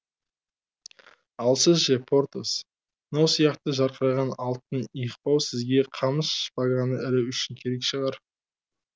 ал сіз ше портос мынау сияқты жарқыраған алтын иықбау сізге қамыс шпаганы ілу үшін керек шығар